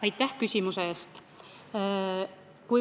Aitäh küsimuse eest!